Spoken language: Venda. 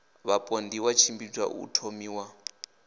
vhapondiwa i tshimbidza u thomiwa